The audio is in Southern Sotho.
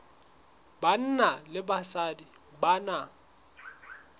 banna le basadi ba na